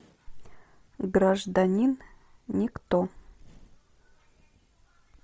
гражданин никто